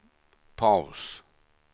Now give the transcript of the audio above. paus